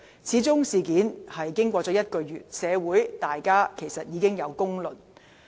事件由揭發至今已1個月，社會大眾已有公論。